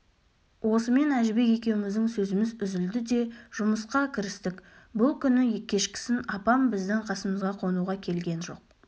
осымен әжібек екеуміздің сөзіміз үзілді де жұмысқа кірістік бұл күні кешкісін апам біздің қасымызға қонуға келген жоқ